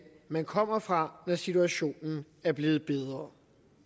man kom fra når situationen er blevet bedre